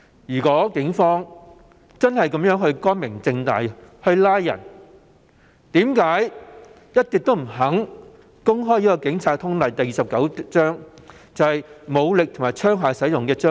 如果警方的拘捕行動真的光明正大，為何一直不肯公開《警察通例》第29章，有關武力與槍械使用的章節？